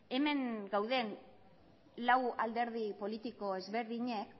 hemen dauden lau alderdi politiko ezberdinek